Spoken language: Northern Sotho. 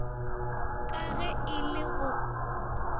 ka ge e le go